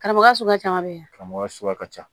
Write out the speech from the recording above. Karamɔgɔ suguya ka ca a bɛ karamɔgɔ suguya ka ca